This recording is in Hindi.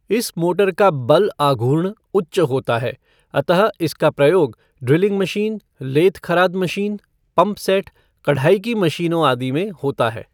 इस मोटर का बल आघूर्ण उच्च होता है अतः इसका प्रयोग ड्रिलिंग मशीन, लेथ खराद मशीन, पम्पसैट कढ़ाई की मशीनों आदि में होता है।